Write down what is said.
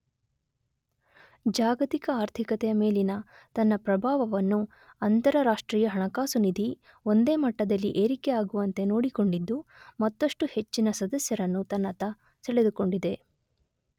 ಜಾಗತಿಕ ಆರ್ಥಿಕತೆಯ ಮೇಲಿನ ತನ್ನ ಪ್ರಭಾವವನ್ನು ಅಂತರರಾಷ್ಟ್ರೀಯ ಹಣಕಾಸು ನಿಧಿ ಒಂದೇ ಮಟ್ಟದಲ್ಲಿ ಏರಿಕೆ ಆಗುವಂತೆ ನೋಡಿಕೊಂಡಿದ್ದು ಮತ್ತಷ್ಟು ಹೆಚ್ಚಿನ ಸದಸ್ಯರನ್ನು ತನ್ನತ್ತ ಸೆಳೆದುಕೊಂಡಿದೆ.